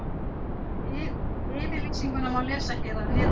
Yfirlýsinguna má lesa hér að neðan.